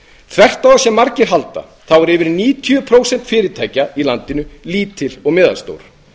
þvert á það sem margir halda eru yfir níutíu prósent fyrirtækja í landinu lítil og meðalstór